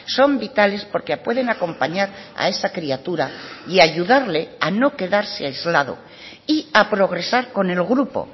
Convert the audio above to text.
son vitales porque pueden acompañar a esa criatura y ayudarle a no quedarse aislado y a progresar con el grupo